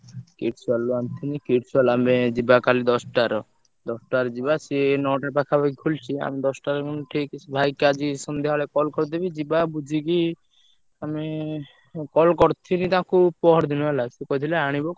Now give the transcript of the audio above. Keeps world ରୁ ଆଣିଥିଲି, Kids World ଆମେ କାଲି ଯିବା ଦଶଟାର ଦଶ ଟାରେ ଯିବା, ସିଏ ନଅଟା ପାଖାପାଖି ଖୋଲୁଚି ଆମେ ଦଶଟାରେ ଠିକ୍ ସେ ଭାଇକି ଆଜି ସନ୍ଧ୍ୟାବେଳେ call କରିଦେବି ଯିବା ବୁଝିକି ଆମେ ଏଁ call ~କର ~ଥିଲି ତାକୁ ପହରଦିନ ହେଲା ସିଏ କହିଥିଲା ଆଣିବ।